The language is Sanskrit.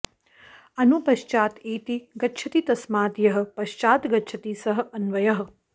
अनु पश्चात् एति गच्छति तस्मात् यः पश्चात् गच्छति सः अन्वयः